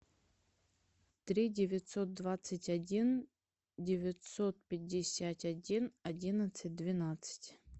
три девятьсот двадцать один девятьсот пятьдесят один одиннадцать двенадцать